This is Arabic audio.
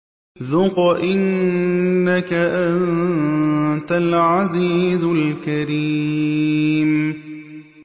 ذُقْ إِنَّكَ أَنتَ الْعَزِيزُ الْكَرِيمُ